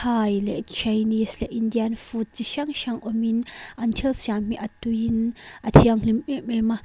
thai chinese leh indian food chi hrang hrang awmin an thil siam hi a tuiin a thianghlim em em a.